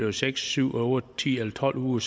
er seks syv otte ti eller tolv uger